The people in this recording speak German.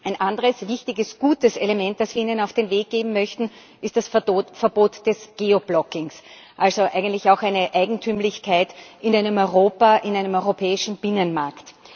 Ein anderes wichtiges gutes Element, das wir ihnen auf den Weg geben möchten, ist das Verbot des Geoblockings, also auch eigentlich eine Eigentümlichkeit in einem Europa, in einem europäischen Binnenmarkt.